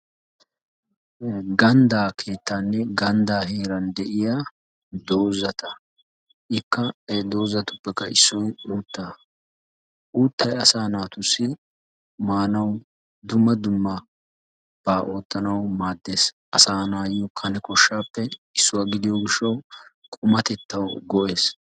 Ganddaa keettaanne ganddaa heeran de'iya doozata. Ikka he doozatuppekka issoy uuttaa. Uuttay asaa naatussi maanawu, dumma dummabaa oottanawu maaddes. Asaa na'awu kane koshshaappe issuwa gidiyo gishshawu qumatettawu go'ees.